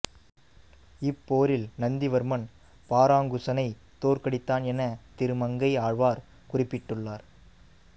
இப்போரில் நந்திவர்மன் பராங்குசனைத் தோற்கடித்தான் என திருமங்கை ஆழ்வார் குறிப்பிட்டுள்ளார்